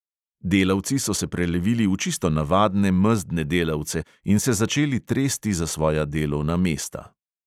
Delavci so se prelevili v čisto navadne mezdne delavce in se začeli tresti za svoja delovna mesta.